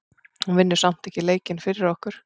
Hún vinnur samt ekki leikinn fyrir okkur.